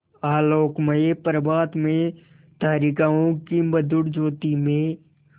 आलोकमय प्रभात में तारिकाओं की मधुर ज्योति में